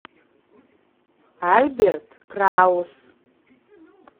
альберт краус